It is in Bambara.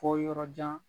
Fɔ yɔrɔ jan